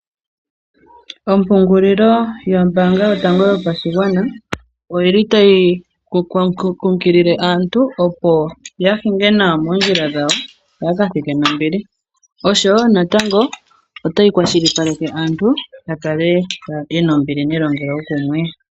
Ompungulilo yombaanga yotango yopashigwana oyi li tayi kunkilile aantu, opo ya hinge nawa moondjila dhawo, opo yaka thike nombili, osho wo natango ota yi kwashilipaleke aantu opo ya kale ye na ombili nelongelokumwe.